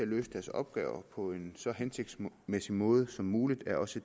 løse deres opgaver på en så hensigtsmæssig måde som muligt er også